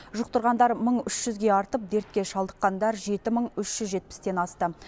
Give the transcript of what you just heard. жұқтырғандар мың үш жүзге артып дертке шалдыққандар жеті мың үш жүз жетпістен асты